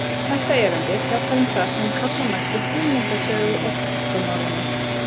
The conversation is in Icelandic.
Þetta erindi fjallar um það sem kalla mætti hugmyndasögu orkumálanna.